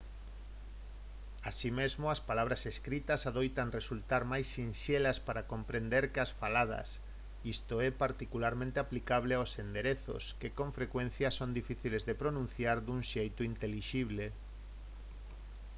así mesmo as palabras escritas adoitan resultar máis sinxelas para comprender que as faladas isto é particularmente aplicable aos enderezos que con frecuencia son difíciles de pronunciar dun xeito intelixible